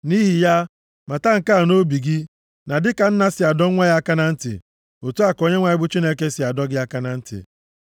Nʼihi ya, mata nke a nʼobi gị, na dịka nna si adọ nwa ya aka na ntị, otu a ka Onyenwe anyị bụ Chineke gị si adọ gị aka na ntị.